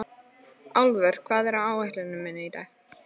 Álfur, hvað er á áætluninni minni í dag?